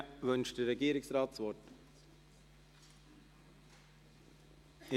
Wünscht der Regierungsrat das Wort?